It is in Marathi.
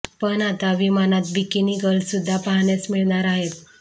पण आता विमानात बिकिनी गर्ल सुद्धा पाहण्यास मिळणार आहे